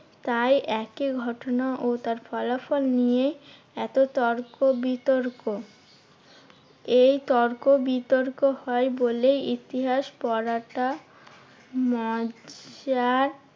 তাই একই ঘটনা ও তার ফলাফল নিয়ে এত তর্ক বিতর্ক। এই তর্ক বিতর্ক হয় বলেই ইতিহাস পড়াটা মজার।